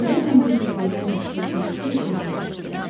Görəsən bu cür gözəl məxluq nəyə görə ölmək istəyir?